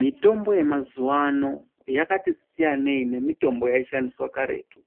Mitombo yemazuva ano yakati siyanei nemitombo yaishandiswa karetu.